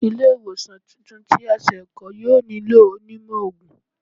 Ile-iwosan tuntun ti a se kọ, yoo nilo onímó oogun